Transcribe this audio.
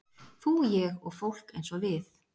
Þú, ég og fólk eins og við